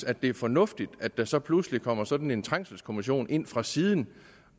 at det er fornuftigt at der så pludselig kommer sådan en trængselskommission ind fra siden